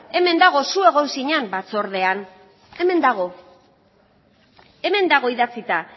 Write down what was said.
hemen dago zu egon zinan batzordean hemen dago hemen dago idatzita